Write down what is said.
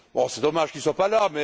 C'est dommage qu'il ne soit pas là.